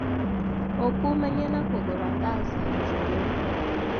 ũkumania na kũgũra ngasi njerũ